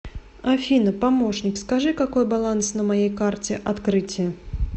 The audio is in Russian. афина помощник скажи какой баланс на моей карте открытие